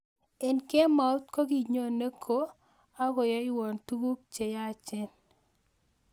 Eng kemaut kokinyone ko akoyaiwon tuguk che yachen.